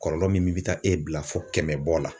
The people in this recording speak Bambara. Kɔlɔlɔ min bɛ taa e bila fo kɛmɛbɔ la